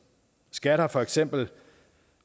skat har for eksempel